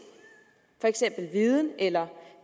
for eksempel viden eller